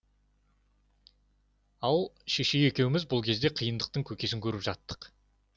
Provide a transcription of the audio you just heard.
ал шешей екеуміз бұл кезде қиындықтың көкесін көріп жаттық